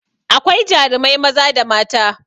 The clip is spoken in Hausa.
Akwai jarumai maza da mata